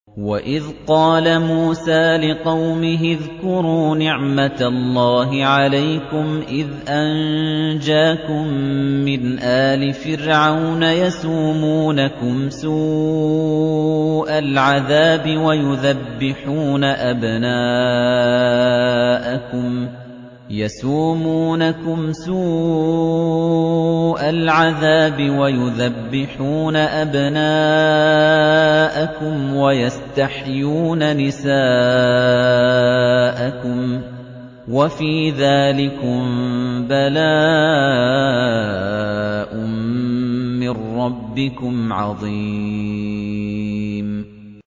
وَإِذْ قَالَ مُوسَىٰ لِقَوْمِهِ اذْكُرُوا نِعْمَةَ اللَّهِ عَلَيْكُمْ إِذْ أَنجَاكُم مِّنْ آلِ فِرْعَوْنَ يَسُومُونَكُمْ سُوءَ الْعَذَابِ وَيُذَبِّحُونَ أَبْنَاءَكُمْ وَيَسْتَحْيُونَ نِسَاءَكُمْ ۚ وَفِي ذَٰلِكُم بَلَاءٌ مِّن رَّبِّكُمْ عَظِيمٌ